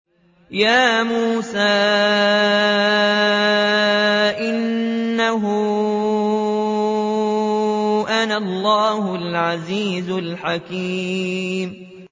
يَا مُوسَىٰ إِنَّهُ أَنَا اللَّهُ الْعَزِيزُ الْحَكِيمُ